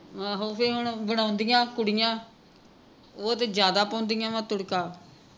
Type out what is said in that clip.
ਆਹੋ ਤੇ ਹੁਣ ਬਣਾਉਦਿਆਂ ਕੁੜੀਆਂ ਉਹ ਤੇ ਜਿਆਦਾ ਪਾਉਂਦੀਆਂ ਵਾ ਤੁੜਕਾ